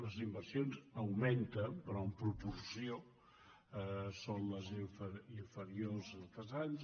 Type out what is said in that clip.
les inversions augmenten però en proporció són inferiors a altres anys